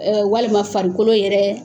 walima farikolo yɛrɛ